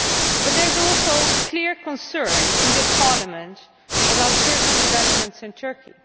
But there is also clear concern in this Parliament about certain developments in Turkey.